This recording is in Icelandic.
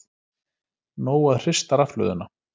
Nóg að hrista rafhlöðuna